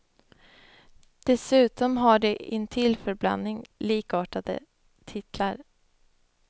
Dessutom har de intill förblandning likartade titlar.